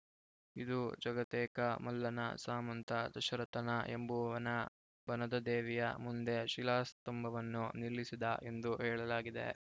ಇದು ಜಗತೇಕ ಮಲ್ಲನ ಸಾಮಂತ ದಶರಥನ ಎಂಬುವವನ ಬನದದೇವಿಯ ಮುಂದೆ ಶಿಲಾಸ್ತಂಭವನ್ನು ನಿಲ್ಲಿಸಿದ ಎಂದು ಹೇಳಲಾಗಿದೆ